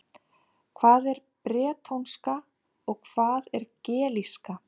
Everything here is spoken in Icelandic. Hvað er bretónska og hvað er gelíska?